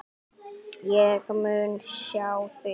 En ég mun sjá þig.